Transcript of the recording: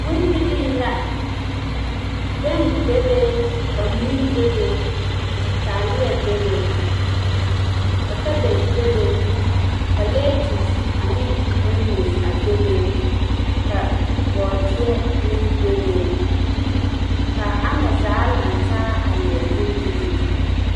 Bondirii la bԑŋ bebe ka mui bebe ka taaleԑ bebe ka kabegi bebe ka leetus aneŋ ooneͻse a bebe ka bͻͻdeԑ meŋ bebe. Kaa ama zaa zaa lantaa a leԑ bondirii.